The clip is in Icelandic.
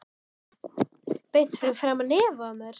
Beint fyrir framan nefið á mér!